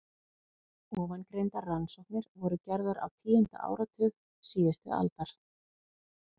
Ofangreindar rannsóknir voru gerðar á tíunda áratug síðustu aldar.